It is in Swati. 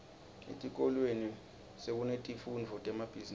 etikolweni sekunetifundvo temabhizimisi